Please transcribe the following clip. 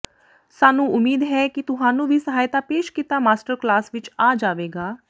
ਸਾਨੂੰ ਉਮੀਦ ਹੈ ਕਿ ਤੁਹਾਨੂੰ ਵੀ ਸਹਾਇਤਾ ਪੇਸ਼ ਕੀਤਾ ਮਾਸਟਰ ਕਲਾਸ ਵਿਚ ਆ ਜਾਵੇਗਾ